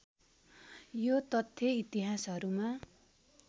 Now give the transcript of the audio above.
यो तथ्य इतिहासहरूमा